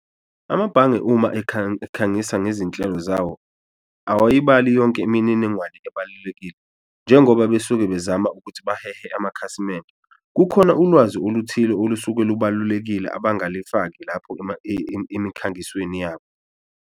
Amabhange uma ekhangisa ngezinhlelo zawo awayibali yonke imininingwane ebalulekile njengoba besuke bezama ukuthi bahehe amakhasimende, kukhona ulwazi oluthile olusuke lubalulekile abangalifaki lapho emikhangisweni yabo.